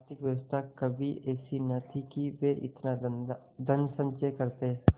आर्थिक व्यवस्था कभी ऐसी न थी कि वे इतना धनसंचय करते